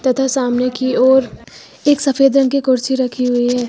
तथा सामने की ओर एक सफेद रंग की कुर्सी रखी हुई है।